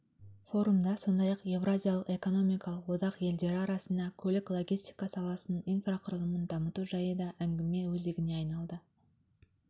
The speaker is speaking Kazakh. форумда сондай-ақ еуразиялық экономикалық одақ елдері арасында көлік-логистика саласының инфрақұрылымын дамыту жайы да әңгіме өзегіне айналды